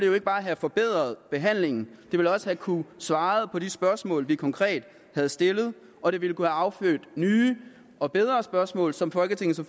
jo ikke bare have forbedret behandlingen men havde også kunnet svare på de spørgsmål vi konkret havde stillet og det ville kunne have affødt nye og bedre spørgsmål som folketinget